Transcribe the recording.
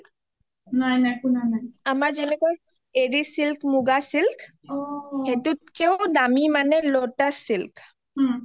আমাৰ যেনেকৈ এৰি চিলক মুগা চিলক সেইটোকেও মানে দামি lotus silk